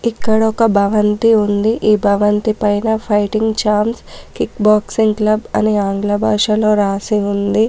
ఇక్కడ ఒక భవంతి ఉంది. ఈ భవంతి పైన fighting champs kick boxing club అని ఆంగ్ల భాషలో రాసి ఉంది.